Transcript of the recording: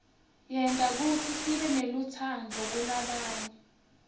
yenta kutsi sibenelutsaadvu kulabanye